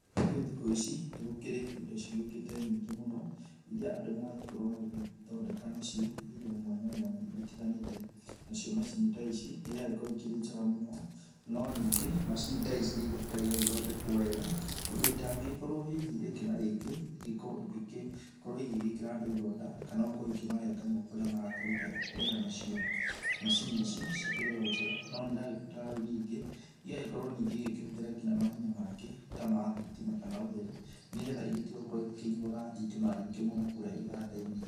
Rĩu thikũ ici nĩ gũkĩrĩ indo cigĩũkĩte nyingĩ mũno iria andũ maragĩkorwo magĩgĩthondeka nacio indo mwanya mwanya igĩtiganĩte. Nacio macini ta ici nĩiragĩkorwo ĩkĩrĩ njega mũno. No ningĩ macini ta ici nĩigĩbataire igagĩthondekwo wega ũndũ itangĩgĩkorwo hihi rĩngĩ na rĩngĩ igĩkorwo igĩkĩkorwo igĩgĩkĩra andũ ironda, kana gũkorwo ikĩmarenga moko rĩrĩa marakĩruta wĩra nacio. Macini ici, cikĩrĩ o njega no nĩiragĩbatara o rĩu ningĩ ĩgagĩkorwo ningĩ igĩkĩhũthĩra nginya mahinya mangĩ ta ma thitima kana ũtheri nĩ getha igĩtige gũkorwo igĩkĩnyuaga thitima nyingĩ kũrĩa iganda-inĩ.